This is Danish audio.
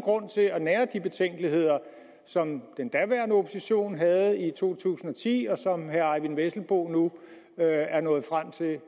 grund til at nære de betænkeligheder som den daværende opposition havde i to tusind og ti og som herre eyvind vesselbo nu er er nået frem til at